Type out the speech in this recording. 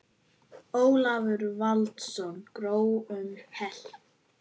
Ólafur Valsson: Grói um heilt?